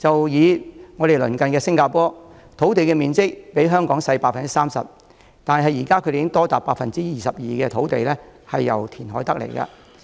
以鄰近的新加坡為例，其土地面積比香港小 30%， 多達 22% 的土地都是經由填海得來的。